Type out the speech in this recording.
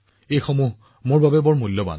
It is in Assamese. এই পৰামৰ্শবোৰ মোৰ বাবে অতি মূল্যৱান